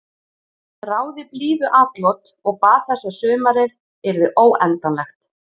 Þráði blíðuatlot og bað þess að sumarið yrði óendanlegt.